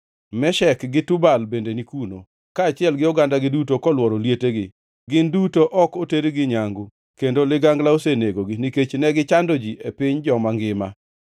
“Meshek gi Tubal bende ni kuno, kaachiel gi ogandagi duto kolworo lietegi. Gin duto ok otergi nyangu, kendo ligangla osenegogi, nikech ne gichando ji e piny joma ngima.